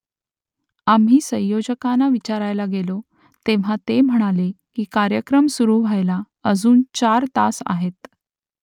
आम्ही संयोजकांना विचारायला गेलो तेव्हा ते म्हणाले की कार्यक्रम सुरू व्हायला अजून चार तास आहेत